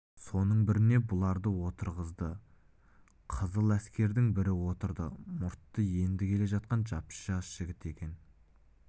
соның біріне бұларды отырғызды қызыл әскердің бірі отырды мұрты енді келе жатқан жап-жас жігіт екен